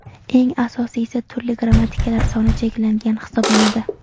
Eng asosiysi turli grammatikalar soni cheklangani hisoblanadi.